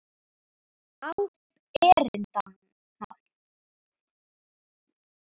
Ágrip erinda.